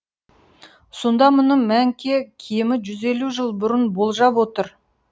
сонда мұны мәңке кемі жүз елу жыл бұрын болжап отыр